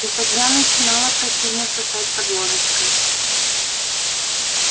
и тогда начинало противно сосать под ложечкой